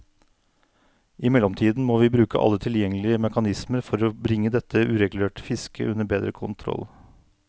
I mellomtiden må vi bruke alle tilgjengelige mekanismer for bringe dette uregulerte fisket under bedre kontroll.